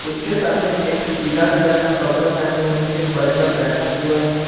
उसके सामने एक पीला कलर का कपड़ा पहने हुए एक बच्चा बैठा हुआ है।